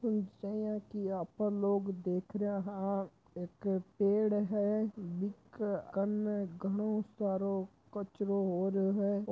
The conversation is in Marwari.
कि आपन लोग देख रहियाँ हाँ एक पेड़ है बिक कन्न घणो सारयो कचरो होरयो है।